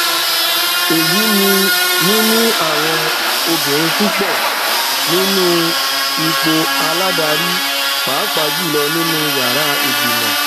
èyí ni níní àwọn obìnrin púpọ nínú ipò aládarí pàápàá jùlọ nínú yàrá ìgbìmọ